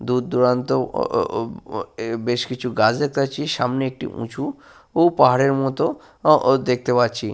দূরদূরান্ত ও ও ও এ বেশ কিছু গাছ দেখতে পাচ্ছি। সামনে একটি উঁচু ও পাহাড়ের মতো ও ও দেখতে পাচ্ছি।